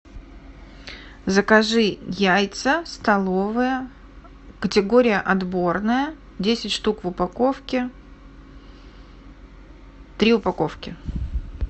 закажи яйца столовые категория отборные десять штук в упаковке три упаковки